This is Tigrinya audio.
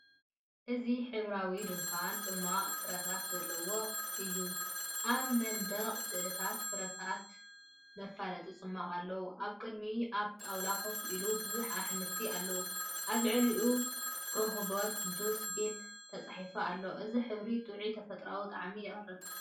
እዚ ሕብራዊ ድኳን ጽማቝ ፍረታት ዘለውዎ እይ። ኣብ መንደቕ ስእልታት ፍረታትን መፋለጢ ጽማቝን ኣለዎ። ኣብ ቅድሚት ኣብ ጣውላ ኮፍ ኢሎም ብዙሓት ኣሕምልቲ ኣለዉ፤ ኣብ ልዕሊኡ ‘ሮሆቦት ጁስ ቤት’ተጻሒፉ ኣሎ። እዚ ብሕብሪ ጥዑይን ተፈጥሮኣውን ጣዕሚ የቕርብ።